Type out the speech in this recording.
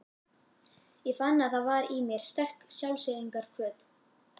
Ég fann að það var í mér sterk sjálfseyðingarhvöt.